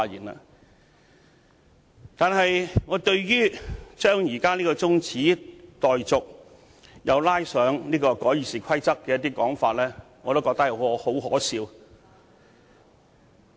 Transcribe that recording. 我覺得議員將這項中止待續議案與修訂《議事規則》扯在一起的說法很可笑。